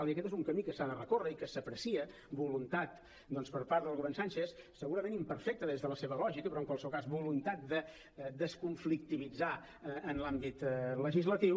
i aquest és un camí que s’ha de recórrer i en què s’aprecia voluntat doncs per part del govern sánchez segurament imperfecta des de la seva lògica però en qualsevol cas voluntat de desconflictivitzar en l’àmbit legislatiu